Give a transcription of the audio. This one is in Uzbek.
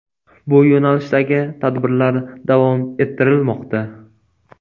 Bu yo‘nalishdagi tadbirlar davom ettirilmoqda.